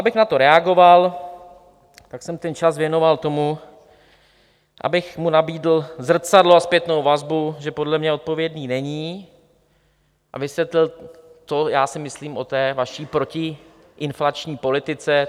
Abych na to reagoval, tak jsem ten čas věnoval tomu, abych mu nabídl zrcadlo a zpětnou vazbu, že podle mě odpovědný není, a vysvětlil, co já si myslím o té vaší protiinflační politice.